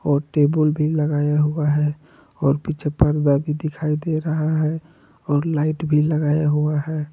और टेबुल भी लगाया हुआ हैं और पीछे पर्दा भी दिखाई दे रहा है और लाइट भी लगाया हुआ है।